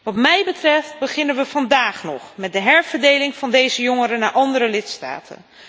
Wat mij betreft beginnen we vandaag nog met de herverdeling van deze jongeren naar andere lidstaten.